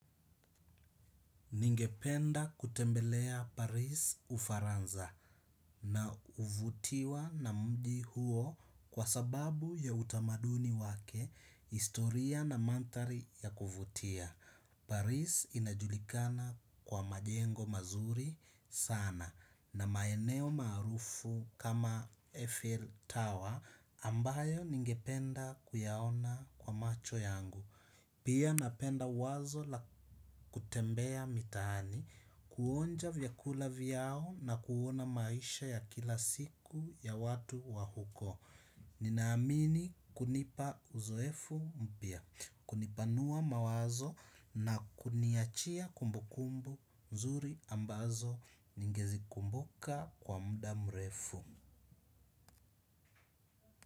Ningependa kutembelea Paris ufaranza na uvutiwa na mji huo kwa sababu ya utamaduni wake, historia na manthari ya kuvutia. Paris inajulikana kwa majengo mazuri sana na maeneo maarufu kama Eiffel Tower ambayo ningependa kuyaona kwa macho yangu. Pia napenda wazo la kutembea mitaani, kuonja vyakula vyao na kuona maisha ya kila siku ya watu wa huko. Ninaamini kunipa uzoefu mpya, kunipanua mawazo na kuniachia kumbukumbu nzuri ambazo ningezikumbuka kwa muda mrefu.